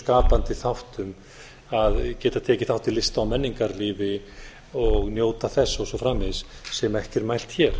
skapandi þáttum að geta tekið þátt í lista og menningarlífi og njóta þess og svo framvegis sem ekki er mælt hér